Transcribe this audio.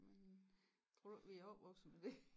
Men tror du ikke vi opvokset med det